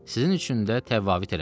Sizin üçün də təvaiz eləməz.